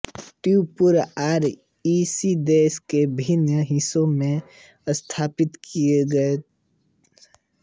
T पूर्व R E C देश के विभिन्न हिस्सों में स्थापित किए गए थे